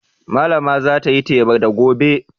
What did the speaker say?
Malama za ta yi teba da gobe.